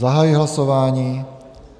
Zahajuji hlasování.